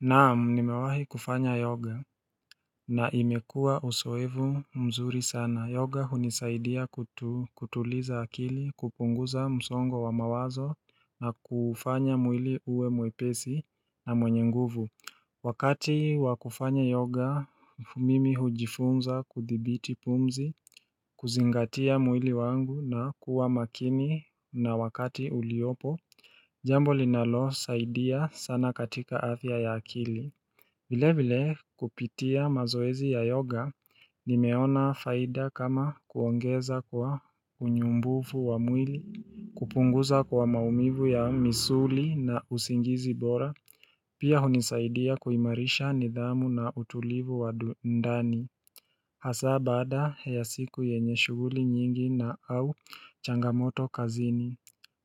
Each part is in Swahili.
Naam nimewahi kufanya yoga na imekua uzoevu mzuri sana yoga hunisaidia kutuliza akili kupunguza msongo wa mawazo na kufanya mwili uwe mwepesi na mwenye nguvu Wakati wa kufanya yoga mimi hujifunza kuthibiti pumzi kuzingatia mwili wangu na kuwa makini na wakati uliopo Jambo linalosaidia sana katika afya ya akili Vilevile kupitia mazoezi ya yoga nimeona faida kama kuongeza kwa unyumbufu wa mwili, kupunguza kwa maumivu ya misuli na usingizi bora, pia hunisaidia kuimarisha nidhamu na utulivu wa ndani. Hasa baada ya siku yenye shughuli nyingi na au changamoto kazini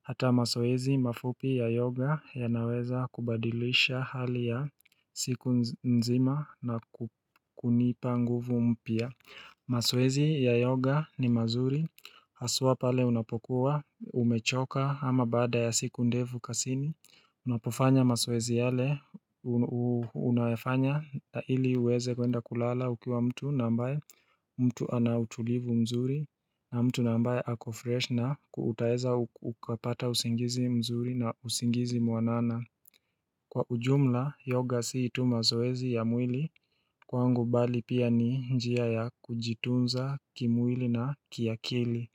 Hata mazoezi mafupi ya yoga yanaweza kubadilisha hali ya siku nzima na kunipa nguvu mpya mazoezi ya yoga ni mazuri haswa pale unapokuwa umechoka ama baada ya siku ndefu kazini Unapofanya mazoezi yale unayafanya ili uweze kwenda kulala ukiwa mtu na ambaye mtu ana utulivu mzuri na mtu nambaye ako freshi na utaeza ukapata usingizi mzuri na usingizi mwanana Kwa ujumla yoga si tu mazoezi ya mwili kwangu bali pia ni njia ya kujitunza kimwili na kiakili.